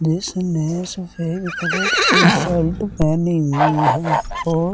जिसने सफेद कलर की शर्ट पहनी हुई है और --